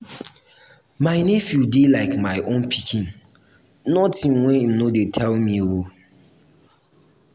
my nephew dey like my own pikin notin wey im no dey tell me.